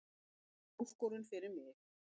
Þetta er áskorun fyrir mig